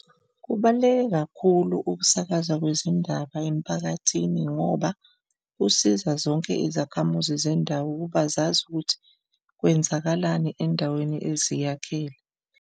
Kubaluleke kakhulu ukusakaza kwezindaba emphakathini ngoba kusiza zonke izakhamizi zendawo ukuba zazi ukuthi kwenzakalani endaweni eziyakhele.